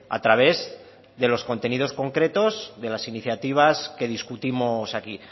a través de los contenidos concretos de las iniciativas que discutimos aquí